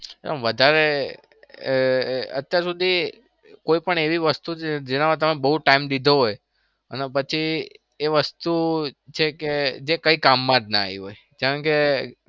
તમે વધારે અત્યાર સુધી કોઈ પણ એવી વસ્તુ છે? જેમાં તમે બઉ time લીધો હોય અને પછી એ વસ્તુ છે કે કોઈ કામમાં જ ના આયી હોય?